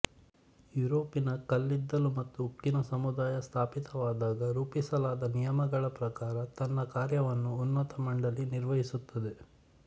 ಯುರೋಪಿನ ಕಲ್ಲಿದ್ದಲು ಮತ್ತು ಉಕ್ಕಿನ ಸಮುದಾಯ ಸ್ಥಾಪಿತವಾದಾಗ ರೂಪಿಸಲಾದ ನಿಯಮಗಳ ಪ್ರಕಾರ ತನ್ನ ಕಾರ್ಯವನ್ನು ಉನ್ನತ ಮಂಡಲಿ ನಿರ್ವಹಿಸುತ್ತದೆ